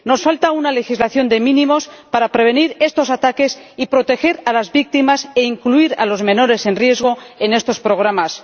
Nos falta una legislación de mínimos para prevenir estos ataques y proteger a las víctimas e incluir a los menores en riesgo en estos programas.